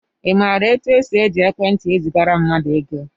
I maara etu e si eji ekwentị ezigara mmadụ ego?